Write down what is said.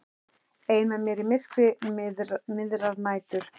Ein með mér í myrkri miðrar nætur.